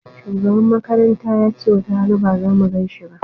Shugaban makaranta yace watarana ba zamu ganin shi ba